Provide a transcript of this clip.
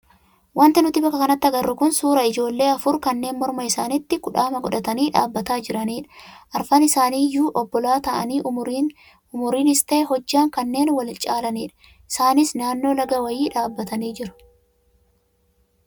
Wanti nuti bakka kanatti agarru kun suuraa ijoollee afur kanneen morma isaaniitti kudhaama godhatanii dhaabbataa jiranidha. Arfan isaanii iyyuu obbolaa ta'anii umriinis ta'ee hojjaan kanneen wal caalanidha. Isaanis naannoo laga wayii dhaabbatanii jiru.